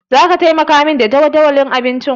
Zaka taimaka min da jadawalin abincinku?